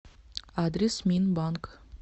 адрес минбанк